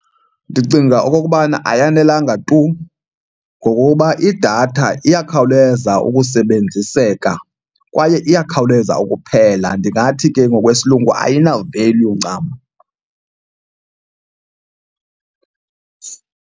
Ndicinga okokubana ayanelanga tu ngokokuba idatha iyakhawuleza ukusebenziseka kwaye iyakhawuleza ukuphela. Ndingathi ke ngokwesilungu ayina-value ncam.